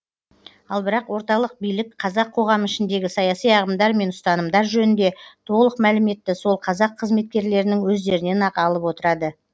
ал бірақ орталық билік қазақ коғамы ішіндегі саяси ағымдар мен ұстанымдар жөнінде толық мәліметті сол қазақ қызметкерлерінің өздерінен ақ алып отырды